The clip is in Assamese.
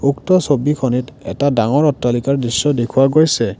উক্ত ছবিখনিত এটা ডাঙৰ অট্টালিকাৰ ছবি দেখুওৱা গৈছে।